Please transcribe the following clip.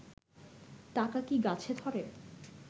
টাকা কি গাছে ধরে?